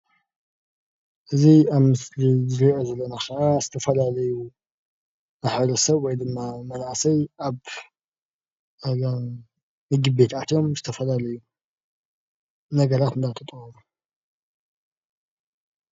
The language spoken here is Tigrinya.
እዚ ኣብ ምስሊ እንሪኦ ዘለና ከዓ ዝተፈላለዩ ማሕበረ ሰብ ወይ ድማ መናእሰይ ኣብ ምግብት ኣትዮም ዝተፈላለዩ ነገራት እንዳተጠቀሙ፡፡